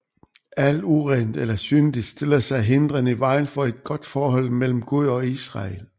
Alt urent eller syndigt stiller sig hindrende i vejen for et godt forhold mellem Gud og Israel